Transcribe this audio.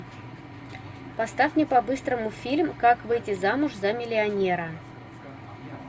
поставь мне по быстрому фильм как выйти замуж за миллионера